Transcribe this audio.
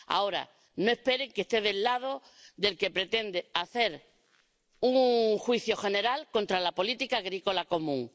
Ahora, no esperen que esté del lado del que pretende hacer un juicio general contra la política agrícola común.